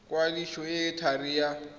kwadiso e e thari ya